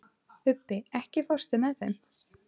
Ubbi, ekki fórstu með þeim?